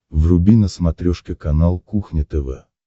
вруби на смотрешке канал кухня тв